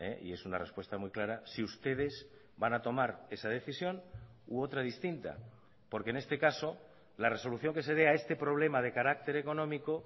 y es una respuesta muy clara si ustedes van a tomar esa decisión u otra distinta porque en este casola resolución que se dé a este problema de carácter económico